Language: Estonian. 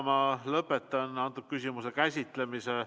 Ma lõpetan selle küsimuse käsitlemise.